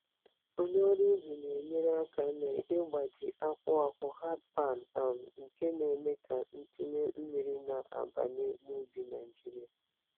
Onye ọrụ ubi na-enyere aka n'ịgbaji akwa akwa hardpan, um nke na-eme ka ntinye mmiri na-abanye n'ubi Naijiria.